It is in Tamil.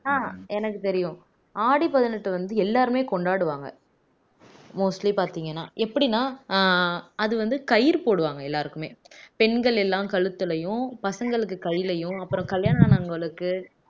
ஆஹ் எனக்கு தெரியும் ஆடி பதினெட்டு வந்து எல்லாருமே கொண்டாடுவாங்க mostly பாத்தீங்கன்னா எப்படின்னா அஹ் அது வந்து கயிறு போடுவாங்க எல்லாருக்குமே பெண்கள் எல்லாம் கழுத்துலயும் பசங்களுக்கு கையிலயும் அப்புறம் கல்யாணம் ஆனவங்களுக்கு